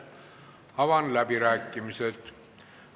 Avan läbirääkimised.